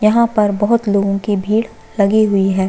यहाँ पर बहोत लोगों की भीड़ लगी हुई है।